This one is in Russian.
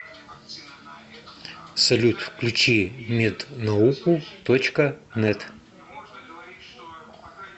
салют включи мед науку точка нэт